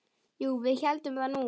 Jú, við héldum það nú.